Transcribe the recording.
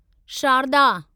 Sharda